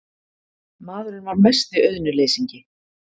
Maðurinn var mesti auðnuleysingi.